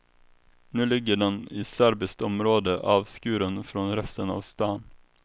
Nu ligger den i serbiskt område avskuren från resten av stan.